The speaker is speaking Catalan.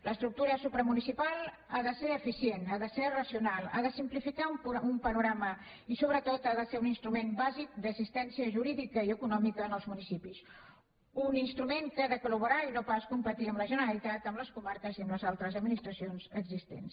l’estructura supramunicipal ha de ser eficient ha de ser racional ha de simplificar un panorama i sobretot ha de ser un instrument bàsic d’assistència jurídica i econòmica als municipis un instrument que ha de collaborar i no pas competir amb la generalitat amb les comarques i amb les altres administracions existents